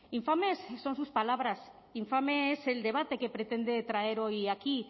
infames son sus palabras infame es el debate que pretende traer hoy aquí